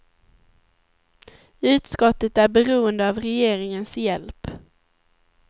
Utskottet är beroende av regeringens hjälp.